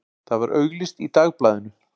Það var auglýst í Dagblaðinu.